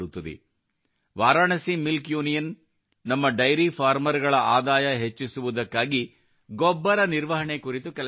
Varanasi milk union ನಮ್ಮ dairy farmers ಗಳ ಆದಾಯ ಹೆಚ್ಚಿಸುವುದಕ್ಕಾಗಿ ಗೊಬ್ಬರ ನಿರ್ವಹಣೆ ಕುರಿತು ಕೆಲಸ ಮಾಡುತ್ತಿದೆ